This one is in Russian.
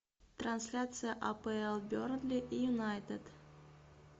трансляция апл бернли и юнайтед